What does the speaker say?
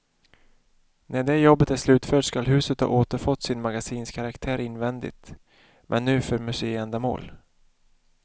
När det jobbet är slutfört skall huset ha återfått sin magasinskaraktär invändigt, men nu för museiändamål.